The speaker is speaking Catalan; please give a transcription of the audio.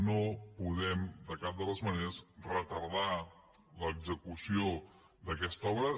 no podem de cap de les maneres retardar l’execució d’aquesta obra